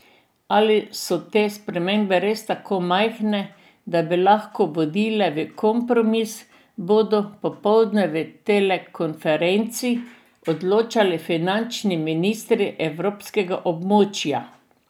Ali so te spremembe res tako majhne, da bi lahko vodile v kompromis, bodo popoldne v telekonferenci odločali finančni ministri evrskega območja.